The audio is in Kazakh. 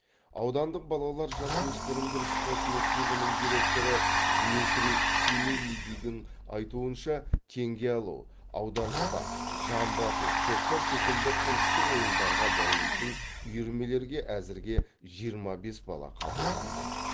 аудандық балалар жасөспірімдер спорт мектебінің директоры дмитрий семилидидің айтуынша теңге алу аударыспақ жамбы ату көкпар секілді ұлттық ойындарға баулитын үйірмелерге әзірге жиырма бес бала қабылданды